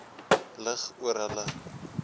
lig oor hulle